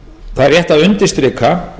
það er rétt að undirstrika